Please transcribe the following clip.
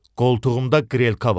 Qoltuğumda qrelka var.